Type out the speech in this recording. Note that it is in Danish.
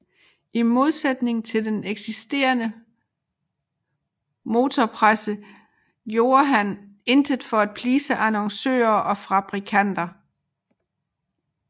I modsætning til den eksisterende motorpresse gjorde han intet for at please annoncører og fabrikanter